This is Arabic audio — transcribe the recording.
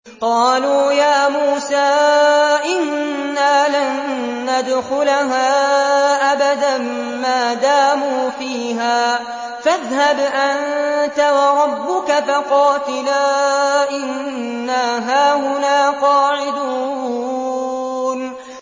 قَالُوا يَا مُوسَىٰ إِنَّا لَن نَّدْخُلَهَا أَبَدًا مَّا دَامُوا فِيهَا ۖ فَاذْهَبْ أَنتَ وَرَبُّكَ فَقَاتِلَا إِنَّا هَاهُنَا قَاعِدُونَ